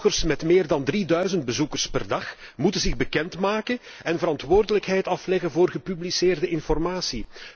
Bloggers met meer dan 3000 bezoekers per dag moeten zich bekendmaken en verantwoordelijkheid afleggen voor gepubliceerde informatie.